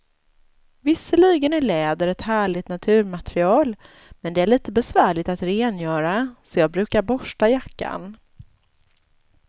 Visserligen är läder ett härligt naturmaterial, men det är lite besvärligt att rengöra, så jag brukar borsta jackan.